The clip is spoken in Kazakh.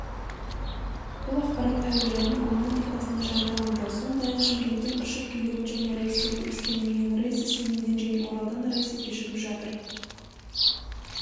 бұл ақпарат әуежайдың онлайн тақтасында жарияланды сондай-ақ шымкенттен ұшып келетін және рейстері өскеменнен рейсі семейден және оралдан рейсі кешігіп жатыр